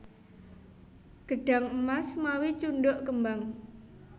Gedhang emas mawi cundhuk kembang